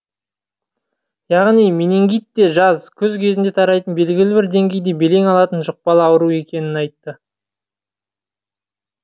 яғни менингит те жаз күз кезінде тарайтын белгілі бір деңгейде белең алатын жұқпалы ауру екенін айтты